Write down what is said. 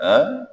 Aa